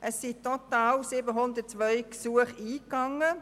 Es sind total 702 Gesuche eingegangen.